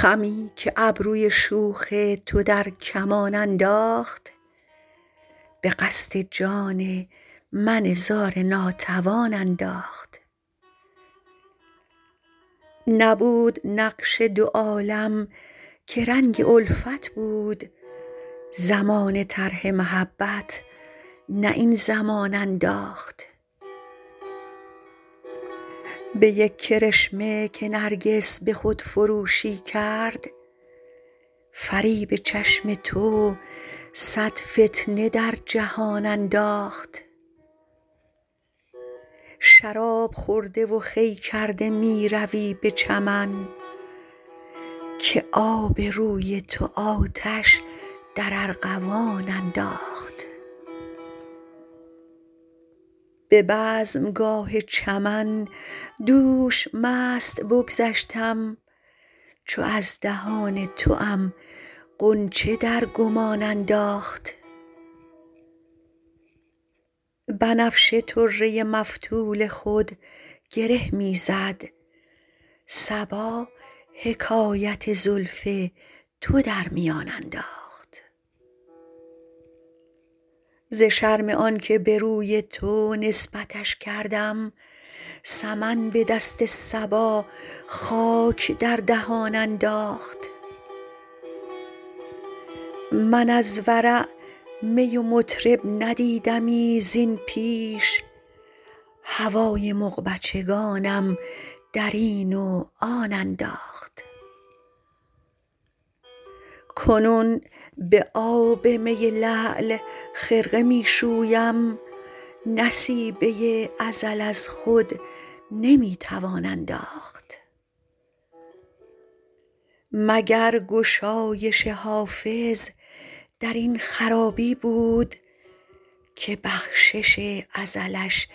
خمی که ابروی شوخ تو در کمان انداخت به قصد جان من زار ناتوان انداخت نبود نقش دو عالم که رنگ الفت بود زمانه طرح محبت نه این زمان انداخت به یک کرشمه که نرگس به خودفروشی کرد فریب چشم تو صد فتنه در جهان انداخت شراب خورده و خوی کرده می روی به چمن که آب روی تو آتش در ارغوان انداخت به بزمگاه چمن دوش مست بگذشتم چو از دهان توام غنچه در گمان انداخت بنفشه طره مفتول خود گره می زد صبا حکایت زلف تو در میان انداخت ز شرم آن که به روی تو نسبتش کردم سمن به دست صبا خاک در دهان انداخت من از ورع می و مطرب ندیدمی زین پیش هوای مغبچگانم در این و آن انداخت کنون به آب می لعل خرقه می شویم نصیبه ازل از خود نمی توان انداخت مگر گشایش حافظ در این خرابی بود که بخشش ازلش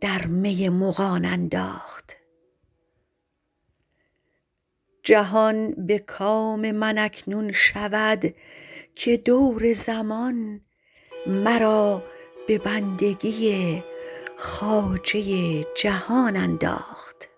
در می مغان انداخت جهان به کام من اکنون شود که دور زمان مرا به بندگی خواجه جهان انداخت